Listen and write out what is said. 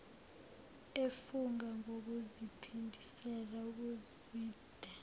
efunga ngokuziphindisela kuzwide